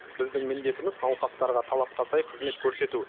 біздің міндетіміз науқастарға талапқа сай қызмет көрсету